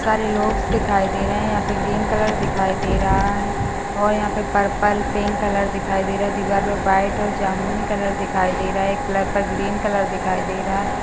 सारे लॉग्स दिखाई दे रहे है यहाँ पर ग्रीन कलर दिखाई दे रहा है और यहाँ पर पर्पल पिंक कलर दिखाई दे रहा है दीवाल पे व्हाइट और जमुनी कलर दिखाई दे रहा है ये प्लग पर ग्रीन कलर दिखाई दे रहा है।